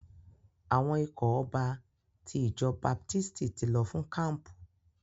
Àwọn ikọ̀ ọba ti ìjọ baptisti ti lọ fún kampu.